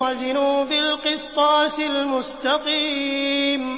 وَزِنُوا بِالْقِسْطَاسِ الْمُسْتَقِيمِ